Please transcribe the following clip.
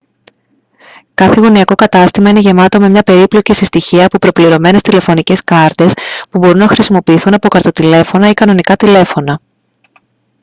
κάθε γωνιακό κατάστημα είναι γεμάτο με μια περίπλοκη συστοιχία από προπληρωμένες τηλεφωνικές κάρτες που μπορούν να χρησιμοποιηθούν από καρτοτηλέφωνα ή κανονικά τηλέφωνα